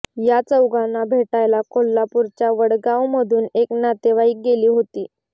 या चौघांना भेटायला कोल्हापूरच्या वडगावमधून एक नातेवाईक गेली होती